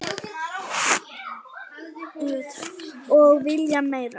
Og vilja meira.